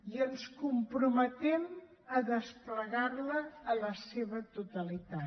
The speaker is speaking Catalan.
i ens comprometem a desplegar la en la seva totalitat